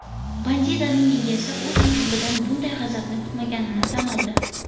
Bandidaning egasi o‘z mushugidan bunday g‘azabni kutmaganini tan oldi.